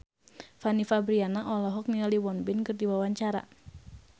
Fanny Fabriana olohok ningali Won Bin keur diwawancara